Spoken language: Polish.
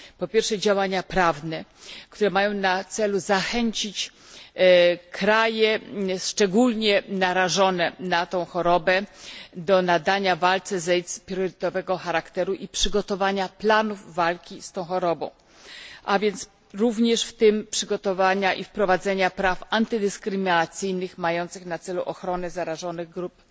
Po pierwsze, działania prawne, które mają na celu zachęcić kraje szczególnie narażone na tę chorobę do nadania walce z AIDS priorytetowego charakteru i przygotowania planów walki z tą chorobą, w tym również przygotowania i wprowadzenia praw antydyskryminacyjnych mających na celu ochronę zagrożonych grup